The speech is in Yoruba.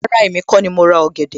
Rárá, èmi kó ni mo ra ọ̀gẹ̀dẹ̀